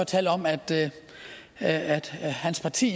talt om at at hans parti